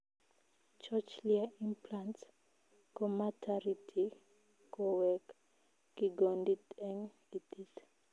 Cochlear implants komatariti koweek kigondit eng itiit